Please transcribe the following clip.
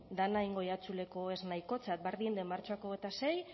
dena egingo diatzuleko ez nahikotzat bardin de martxoak hogeita sei